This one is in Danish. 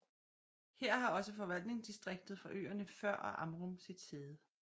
Her har også forvaltningsdistriktet for øerne Før og Amrum sit sæde